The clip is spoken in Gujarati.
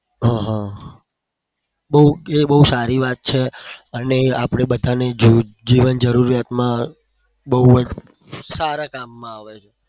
હહ બઉ સારી વાત છે અને આપણે બધાને જીવન જરૂરિયાતમાં સારા કામમાં આવે છે.